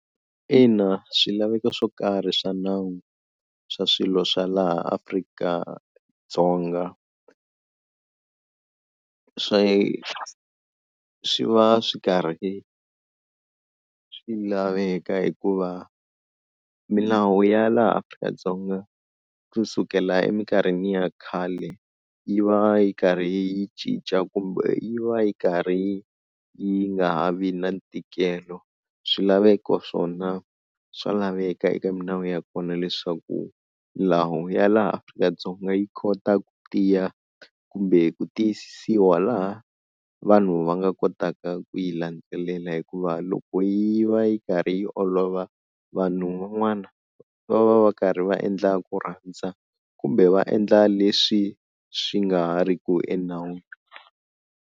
Ina swilaveko swo karhi swa nawu swa swilo swa laha Afrika-Dzonga swi va swi karhi swi laveka hikuva milawu ya laha Afrika-Dzonga kusukela eminkarhini ya khale yi va yi karhi yi cinca kumbe yi va yi karhi yi nga ha vi na ntikelo, swilaveko swona swa laveka eka milawu ya kona leswaku milawu ya laha Afrika-Dzonga yi kota ku tiya kumbe ku tiyisisiwa laha vanhu va nga kotaka ku yi landzelela, hikuva loko yi va yi karhi yi olova vanhu van'wana va va va karhi va endla ku rhandza kumbe va endla leswi swi nga ha ri ki enawini.